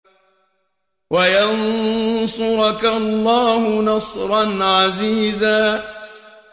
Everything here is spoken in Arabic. وَيَنصُرَكَ اللَّهُ نَصْرًا عَزِيزًا